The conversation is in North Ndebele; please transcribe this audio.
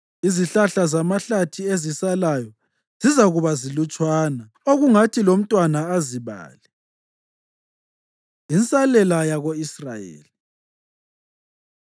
Izihlahla zamahlathi ezisalayo zizakuba zilutshwana, okungathi lomntwana azibale. Insalela Yako-Israyeli